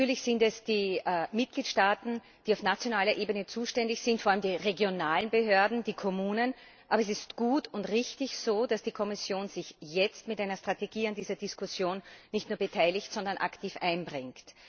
Natürlich sind es die Mitgliedstaaten, die auf nationaler Ebene zuständig sind vor allem die regionalen Behörden, die Kommunen aber es ist gut und richtig, dass die Kommission sich jetzt mit einer Strategie an dieser Diskussion nicht nur beteiligt, sondern aktiv einbringt.